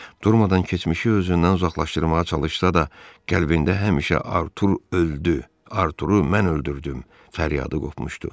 Durmadan keçmişi özündən uzaqlaşdırmağa çalışsa da, qəlbində həmişə "Artur öldü, Arturu mən öldürdüm!" fəryadı qopmuşdu.